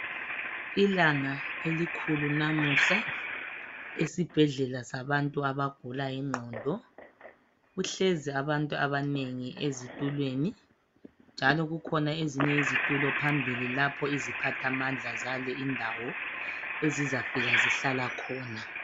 ilanga elikhulu lamuhla esibhedlela sabantu abagula inqondo kuhlezi abantu abanengi ezitulweni njalo kukhona ezinye izitulo phambili lapho iziphathamandla zale indawo ezizafika zihlala khona